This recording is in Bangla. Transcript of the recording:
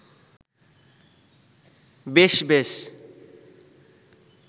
বেশ বেশ